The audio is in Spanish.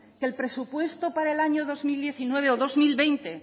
que el presupuesto para el año dos mil diecinueve o dos mil veinte